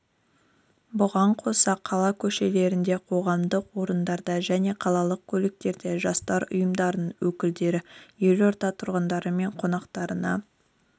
бұған қоса қала көшелерінде қоғамдық орындарда және қалалық көліктерде жастар ұйымдарының өкілдері елорда тұрғындары мен қонақтарына